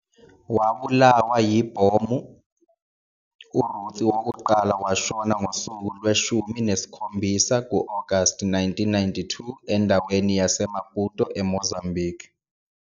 Wabulawa yibomb uRuth wokuqala washona ngosuku lweshumi nesikhombisa August 1982 endaweni yaseMaputo eMozambique.